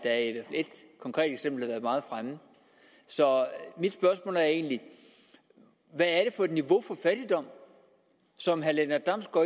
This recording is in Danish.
konkret eksempel der har været meget fremme så mit spørgsmål er egentlig hvad er det for et niveau for fattigdom som herre lennart damsbo